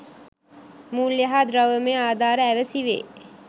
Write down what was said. මූල්‍ය හා ද්‍රව්‍යමය ආධාර ඇවැසි වේ.